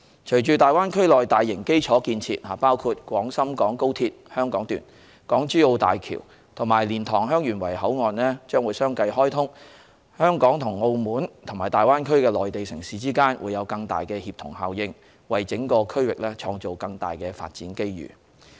隨着大灣區內大型基礎建設，包括廣深港高速鐵路香港段、港珠澳大橋及蓮塘/香園圍口岸相繼開通，香港與澳門及大灣區的內地城市之間會有更大的協同效應，為整個區域創造更多發展機遇。